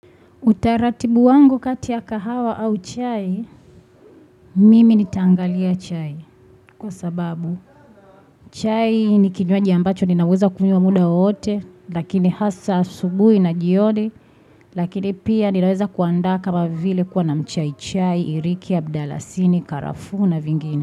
Utaratibu wangu kati ya kahawa au chai, mimi nitaangalia chai kwa sababu. Chai ni kinywaji ambacho ninaweza kunywa muda wote lakini hasa asubuhi na jioni lakini pia ninaweza kuanda kama vile kuwa na mchai chai, iriki, abdalasini, karafu na vingini.